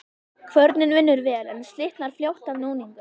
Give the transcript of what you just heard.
Kvörnin vinnur vel, en slitnar fljótt af núningnum.